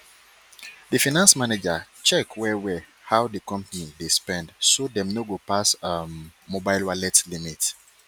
di finance manager check wellwell how di company dey spend so dem no go pass um mobile wallet limit